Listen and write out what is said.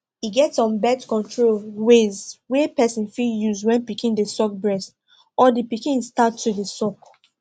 e get some birth control ways wey person fit use when pikin de suck breast or the the pikin start to de suck